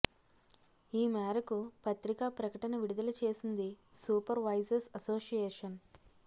ఈ మేరకు పత్రికా ప్రకటన విడుదల చేసింది సూపర్ వైజర్స్ అసోసియేషన్